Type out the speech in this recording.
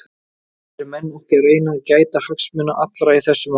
Eru menn ekki að reyna að gæta hagsmuna allra í þessu máli?